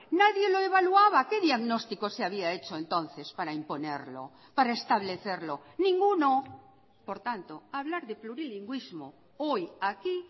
nadie lo evaluaba qué diagnóstico se había hecho entonces para imponerlo para establecerlo ninguno por tanto hablar de plurilingüismo hoy aquí